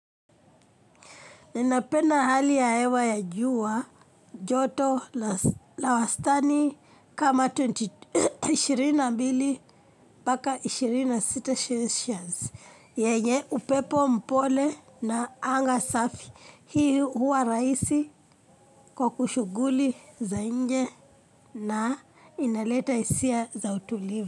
Ninapenda hali ya hewa ya jua joto la wastani kama 22 mpaka 26 years. Yenye upepo mpole na anga safi hii huwa rahisi kwa kushughuli za nje na inaleta hisia za utuliva.